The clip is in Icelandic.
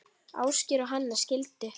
Ásgeir og Hanna skildu.